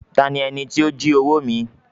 "Ta ni ẹní ti o jí owo mi?"